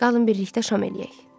Qalın birlikdə şam eləyək.